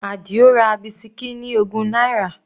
Adio ra bisikí ní ogún náírà.